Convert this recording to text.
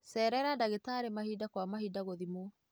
Cerera ndagĩtarĩ mahinda kwa mahinda gũthimwo.